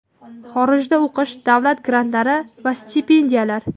Xorijda o‘qish, davlat grantlari va stipendiyalar.